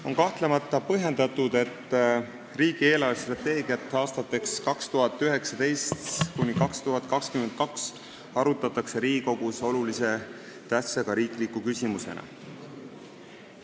On kahtlemata põhjendatud, et riigi eelarvestrateegiat aastateks 2019–2022 arutatakse Riigikogus olulise tähtsusega riikliku küsimusena.